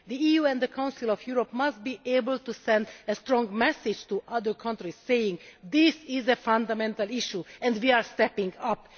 The EU and the Council of Europe must be able to send a strong message to other countries saying This is a fundamental issue and we are stepping up'.